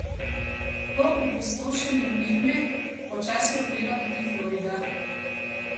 Po opustošenju Irme počasi okreva tudi Florida.